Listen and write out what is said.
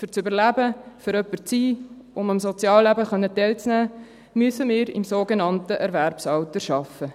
Um zu überleben, um jemand zu sein, um am Sozialleben teilnehmen zu können, müssen wir im sogenannten Erwerbsalter arbeiten.